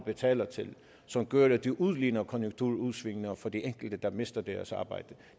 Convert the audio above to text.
betaler til som gør at det udligner konjunkturudsvingene for de enkelte der mister deres arbejde